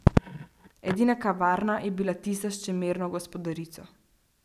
Edina kavarna je bila tista s čemerno gospodarico.